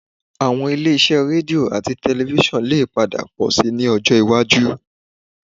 Àwọn ilé-iṣẹ́ rédíò àti tẹlifísàn lè padà pọ̀ síi ní ọjọ́ iwájú